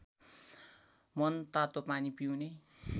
मनतातो पानी पिउने